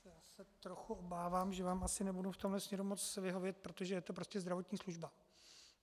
Já se trochu obávám, že vám asi nebudu v tomto směru moci vyhovět, protože je to prostě zdravotní služba.